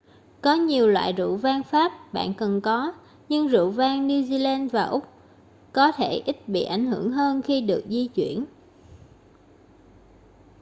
có nhiều loại rượu vang pháp bạn cần có nhưng rượu vang new zealand và úc có thể ít bị ảnh hưởng hơn khi được di chuyển